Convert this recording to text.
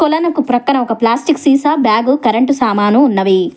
కొలను కు పక్కన ఒక ప్లాస్టిక్ సీసా బ్యాగు కరెంటు సామాను ఉన్నవి.